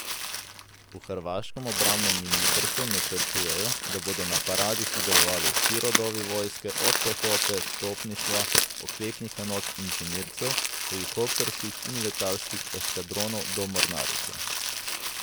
V hrvaškem obrambnem ministrstvu načrtujejo, da bodo na paradi sodelovali vsi rodovi vojske od pehote, topništva, oklepnih enot, inženircev, helikopterskih in letalskih eskadronov do mornarice.